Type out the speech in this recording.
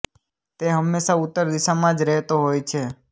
તે હમેશા ઉત્તર દિશામા જ રહેતો હોય છે